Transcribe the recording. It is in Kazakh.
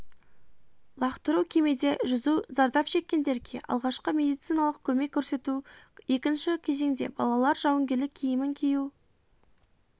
лақтыру кемеде жүзу зардап шеккендерге алғашқы медициналық көмек көрсету екінші кезеңде балалар жауынгерлік киімін кию